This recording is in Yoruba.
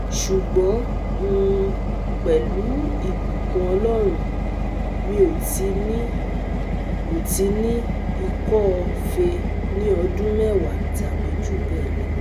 Ṣugbọn um pelu ibukun Ọlọrun, mi o ti ni o ti ni ikọ́-fèé ni ọdun mẹwa tabi ju bẹẹ lọ